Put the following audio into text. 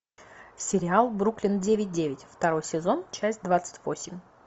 сериал бруклин девять девять второй сезон часть двадцать восемь